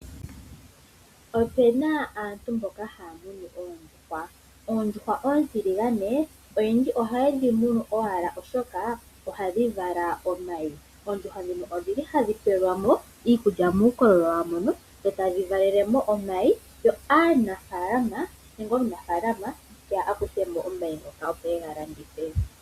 Opena aantu mboka haya munu oondjuhwa. Oondjuhwa oontiligane oyendji ohaye dhi munu owala oshoka ohadhi vala omayi. Oondjuhwa dhino odhili hadhi pelwa mo iikulya miikoololo yawo eta dhivalele mo omayi, yo aanafaalama teya akuthemo omayi opo ega landithe.